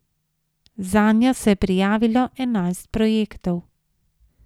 Zanjo se je prijavilo enajst projektov.